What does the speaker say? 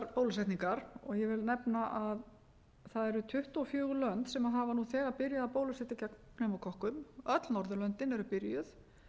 bólusetningar og ég vil nefna að það eru tuttugu og fjögur lönd sem hafa nú þegar byrjað að bólusetja gegn pneumókokkum öll norðurlöndin eru byrjuð